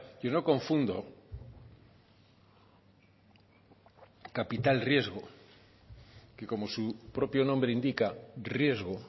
yo no confundo capital riesgo que como su propio nombre indica riesgo